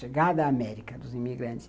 Chegada América dos imigrantes.